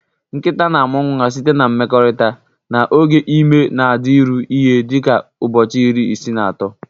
Nkịta na-amụ nwa site na mmekorita, na oge ime na-adịru ihe dị ka ụbọchị iri isii na ato.